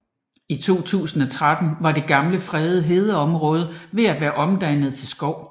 I 2013 var det gamle fredede hedeområde ved at være omdannet til skov